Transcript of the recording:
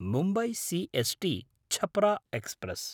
Mumbai C S टी–छपरा express